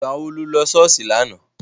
Ìgbà wo lo lọ sí ṣọ́ọ̀ṣì lánàá?